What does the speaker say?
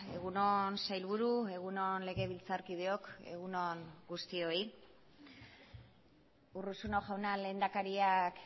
egun on sailburu egun on legebiltzarkideok egun on guztioi urruzuno jauna lehendakariak